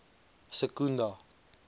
secunda